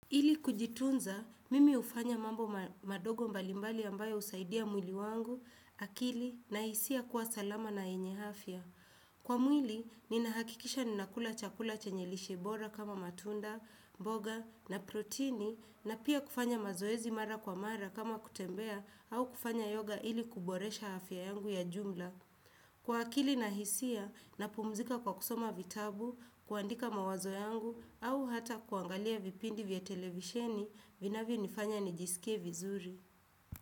Ili kujitunza, mimi hufanya mambo madogo mbalimbali ambayo husaidia mwili wangu, akili, na hisia kuwa salama na yenye afya. Kwa mwili, ninahakikisha ninakula chakula chanye lishe bora kama matunda, mboga, na protini, na pia kufanya mazoezi mara kwa mara kama kutembea au kufanya yoga ili kuboresha afya yangu ya jumla. Kwa akili na hisia na pumuzika kwa kusoma vitabu, kuandika mawazo yangu au hata kuangalia vipindi vya televisheni vinavyo nifanya nijisikie vizuri.